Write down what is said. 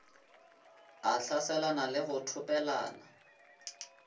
a hlaselane le go thopelana